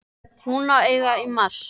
Hún á að eiga í mars.